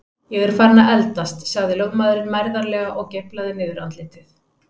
Ég er farinn að eldast, sagði lögmaðurinn mærðarlega og geiflaði niðurandlitið.